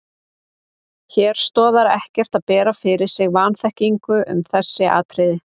Hér stoðar ekki að bera fyrir sig vanþekkingu um þessi atriði.